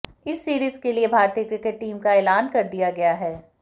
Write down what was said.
इस सीरीज के लिए भारतीय क्रिकेट टीम का एलान कर दिया गया है